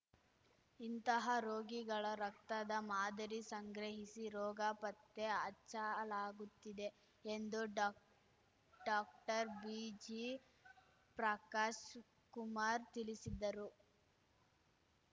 ಇಂತಹ ರೋಗಿಗಳ ರಕ್ತದ ಮಾದರಿ ಸಂಗ್ರಹಿಸಿ ರೋಗ ಪತ್ತೆ ಹಚ್ಚಲಾಗುತ್ತಿದೆ ಎಂದು ಡಾಕ್ಡಾಕ್ಟರ್ ಬಿಜಿ ಪ್ರಕಾಶ್‌ ಕುಮಾರ್‌ ತಿಳಿಸಿದರು